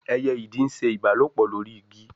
eye Ìdì nṣe ìbálòpọ̀ lórí Igi.